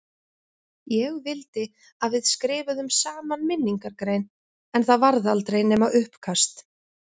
Ég vildi að við skrifuðum saman minningargrein en það varð aldrei nema uppkast.